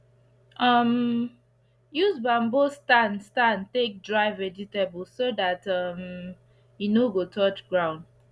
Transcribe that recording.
um use bamboo stand stand take dry vegetable so dat um e no go touch ground